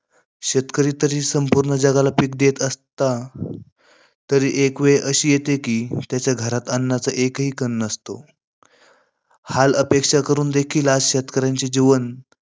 शेतकरी तरी संपूर्ण जगाला पिक देत असला, तरी एक वेळ अशी येते कि त्याच्या घरात अन्नाचा एकही कण नसतो. हालअपेष्टा करूनही आज शेतकऱ्यांचे जीवन